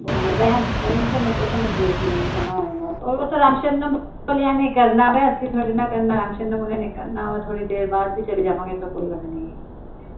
ਕੋਈ ਨੀ ਓਹ ਤਾਂ ਮੈਂ ਦੇਖਲੂਗੀ ਜੇ ਜਾਣਾ ਹੋਏਗਾ ਤਾਂ ਓਹ ਤਾਂ ਰਾਮ ਸ਼ਰਣਾਂ ਵਾਲਿਆ ਨੇ ਕਰਨਾ ਅਸੀਂ ਥੋੜੀ ਨਾ ਕਰਨਾ ਰਾਮ ਸ਼ਰਣਾਂ ਵਾਲਿਆ ਨੇ ਕਰਨਾ ਵਾ ਥੋੜੀ ਦੇਰ ਬਾਦ ਵੀ ਚਲੈ ਜਵਾਂਗੀ ਤਾਂ ਕੋਈ ਗੱਲ ਨੀ